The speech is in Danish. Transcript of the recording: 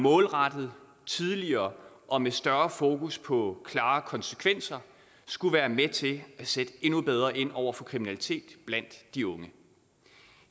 målrettet tidligere og med større fokus på klare konsekvenser skulle være med til at sætte endnu bedre ind over for kriminalitet blandt de unge